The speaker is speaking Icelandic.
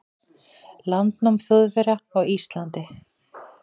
landnám Þjóðverja á Íslandi.